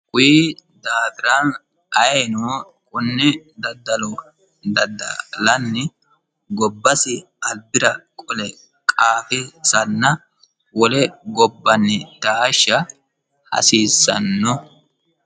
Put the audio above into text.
kuyi daafira ayino konne daddalo dadda'lanni gobbasi albira qole qafisanna wole gobbanni taashsha hasiissanno